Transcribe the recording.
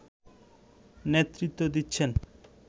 নেতৃত্ব দিচ্ছেন